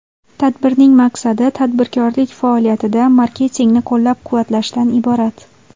Tadbirning maqsadi tadbirkorlik faoliyatida marketingni qo‘llab-quvvatlashdan iborat.